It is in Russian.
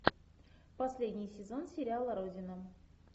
последний сезон сериала родина